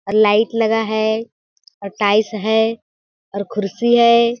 Light लगा है tiles है कुर्सी है।